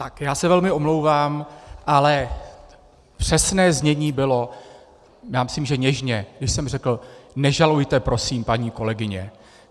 Tak já se velmi omlouvám, ale přesné znění bylo, já myslím, že něžně, že jsem řekl: Nežalujte prosím, paní kolegyně.